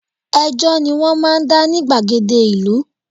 Ẹjọ́ ni wọ́n máa ń dá ní gbàgede ìlú